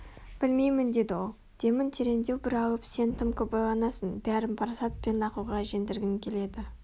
білмеймін деді ол демін тереңдеу бір алып сен тым көп ойланасың бәрін парасат пен ақылға жеңдіргің келеді